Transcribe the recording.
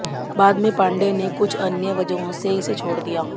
बाद में पांडेय ने कुछ अन्य वजहों से इसे छोड़ दिया